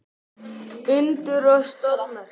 Undur og stórmerki.